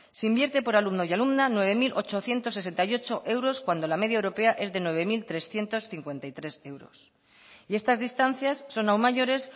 se invierte por alumno y alumna nueve mil ochocientos sesenta y ocho euros cuando la media europea es de nueve mil trescientos cincuenta y tres euros y estas distancias son aún mayores